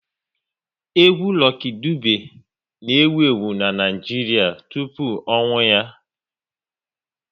Egwu Lucky Dube na ewu ewu n'Naijiria tụpụ ọnwụ ya